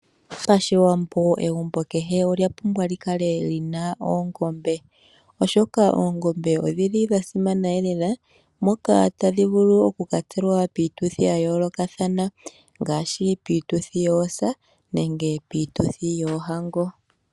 Pashiwambo egumbo kehe olya pumbwa lyi kale lina oongombe. Oongombe odhili dha simana elela, moka tadhi vulu, okukatselwa piituthi ya yoolokathana. Ngaashi, piituthi yoosa nenge piituthi yoohango.